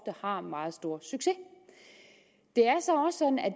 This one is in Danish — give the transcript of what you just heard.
har meget stor succes det